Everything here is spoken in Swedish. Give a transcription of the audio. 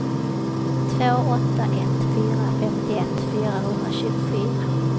två åtta ett fyra femtioett fyrahundratjugofyra